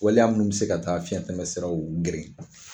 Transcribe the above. Waliya minnu bɛ se ka taa fiyɛn tɛmɛ siraw geren